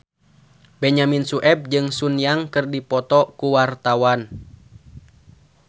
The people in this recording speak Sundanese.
Benyamin Sueb jeung Sun Yang keur dipoto ku wartawan